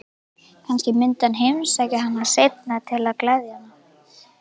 Kannski myndi hann heimsækja hana seinna til að gleðja hana.